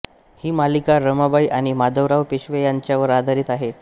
ही मालिका रमाबाई आणि माधवराव पेशवे यांच्यावर आधारित आहे